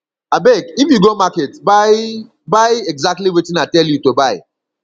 abeg if you go market buy buy exactly wetin i tell you to buy